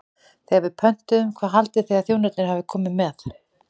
Þegar við pöntuðum, hvað haldið þið að þjónarnir hafi komið með?